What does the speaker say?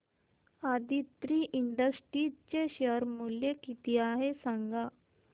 Aditri industries चे share मूल्य किती आहे सांगा